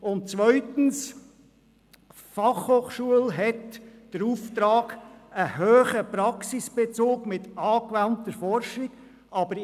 Die FH hat den Auftrag, Ausbildungen mit hohem Praxisbezug und angewandter Forschung anzubieten.